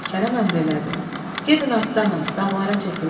Kərəm əmr elədi: Gedin atlanın, dağlara çəkilək.